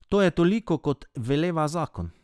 To je toliko, kot veleva zakon.